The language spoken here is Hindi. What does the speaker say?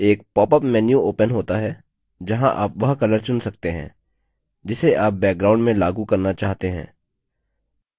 एक popअप menu opens होता है जहाँ आप वह color चुन सकते हैं जिसे आप background में लागू करना चाहते हैं